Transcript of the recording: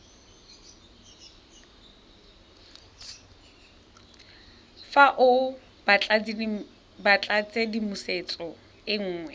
fa o batlatshedimosetso e nngwe